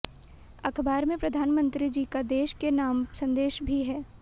अखबार में प्रधानमंत्री जी का देश के नाम संदेश भी है